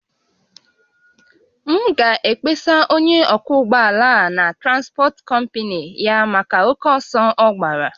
M ga-akpesa onye ọkwọ ụgbọ ala a na transpọt kọmpnị ya maka oke ọsọ ọ gbàrà